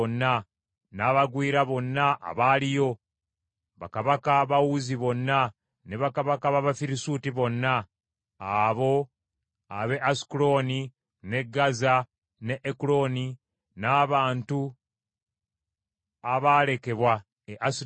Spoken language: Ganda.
n’abagwira bonna abaaliyo; bakabaka ba Uzi bonna, ne bakabaka b’Abafirisuuti bonna, abo ab’e Asukulooni, n’e Gaza, n’e Ekuloni, n’abantu abaalekebwa e Asudodi,